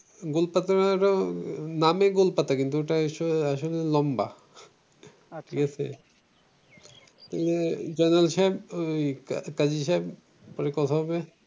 গোলপাতা নামে গোলপাতা কিন্তু এটা আসলে এটা লম্বা আচ্ছা ঠিক আছে তাহলে জয়নাল সাহেব ওই কথা হবে।